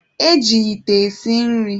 E ji ite esi nri.